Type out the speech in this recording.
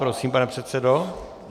Prosím, pane předsedo.